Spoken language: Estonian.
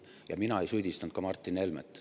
Ja mina ei süüdistanud Martin Helmet.